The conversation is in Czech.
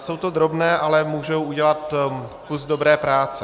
Jsou to drobné, ale můžou udělat kus dobré práce.